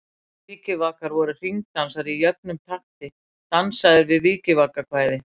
Vikivakar voru hringdansar í jöfnum takti, dansaðir við vikivakakvæði.